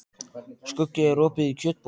Skuggi, er opið í Kjötborg?